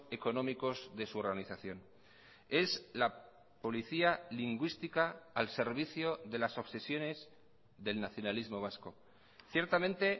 económicos de su organización es la policía lingüística al servicio de las obsesiones del nacionalismo vasco ciertamente